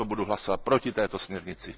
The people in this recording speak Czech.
Proto budu hlasovat proti této směrnici.